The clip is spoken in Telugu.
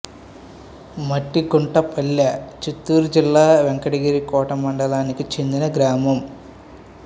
మట్టిగుట్టపల్లె చిత్తూరు జిల్లా వెంకటగిరి కోట మండలానికి చెందిన గ్రామం